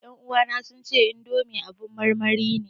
Ƴan uwana sun ce indomi abin marmari ne